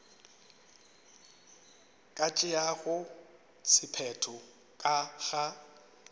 ka tšeago sephetho ka ga